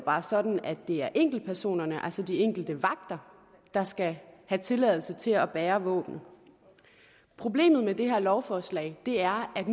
er sådan at det er enkeltpersonerne altså de enkelte vagter der skal have tilladelse til at bære våben problemet med det her lovforslag er at